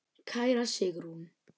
Kæra Sigrún.